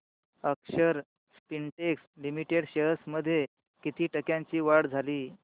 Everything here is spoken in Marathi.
अक्षर स्पिनटेक्स लिमिटेड शेअर्स मध्ये किती टक्क्यांची वाढ झाली